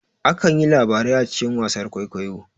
Akan yi labarai a cikin wasar kwaikwayo